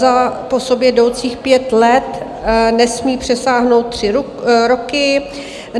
Za po sobě jdoucích pět let nesmí přesáhnout tři roky.